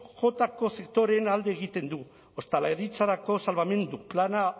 jotako sektoreen alde egiten du ostalaritzarako salbamendu plana